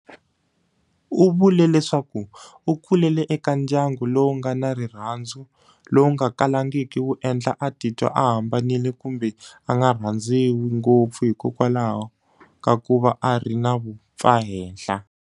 U vule leswaku u kulele eka ndyangu lowu nga na rirhandzu lowu nga kalangiki wu endla a titwa a hambanile kumbe a nga rhandziwi ngopfu hikwalaho ka ku va a ri na vumpfahenhla.